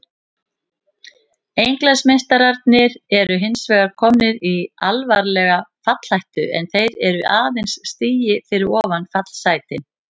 Englandsmeistararnir eru hinsvegar komnir í alvarlega fallhættu en þeir eru aðeins stigi fyrir ofan fallsætin.